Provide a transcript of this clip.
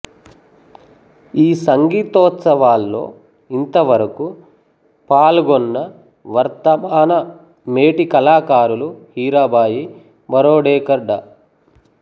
ఈ సంగీతోత్సవాల్లో ఇంతవరకు పాల్గొన్నవర్ధమాన మేటి కళాకారులు హీరాబాయి బరోడేకర్ డా